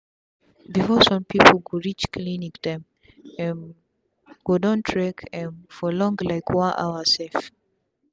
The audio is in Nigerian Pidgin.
before sum pipu go reach clinic dem um go don trek um for long like one hour sef